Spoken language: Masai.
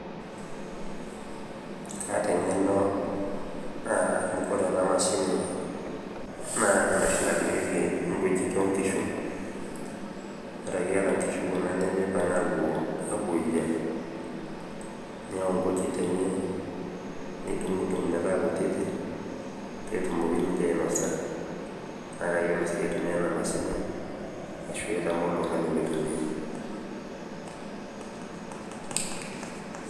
Ataa eng'eno amu ore ena mashini naa enoshi nadung'ieki nkujit onkishu ore ake iata kuna kishu nimipang' apuoyia niyau nkujit enye nidung'udung' metaa kutiti petumoki nije ainosa nakayiolo sii aitumia ena mashini ashu aitamook oltung'ani mitumia